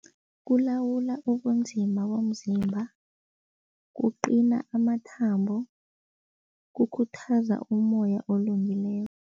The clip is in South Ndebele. Kulawula ubunzima bomzimba, kuqina amathambo, kukhuthaza umoya olungileko.